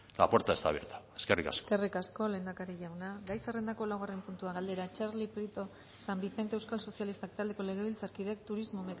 la puerta está abierta eskerrik asko eskerrik asko lehendakari jauna gai zerrendako laugarren puntua galdera txarli prieto san vicente euskal sozialistak taldeko legebiltzarkideak turismo